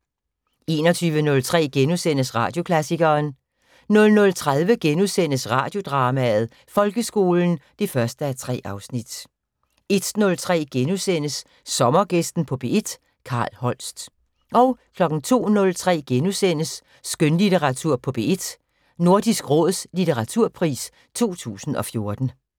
21:03: Radioklassikeren * 00:30: Radiodrama: Folkeskolen (1:3)* 01:03: Sommergæsten på P1: Carl Holst * 02:03: Skønlitteratur på P1: Nordisk Råds litteraturpris 2014 *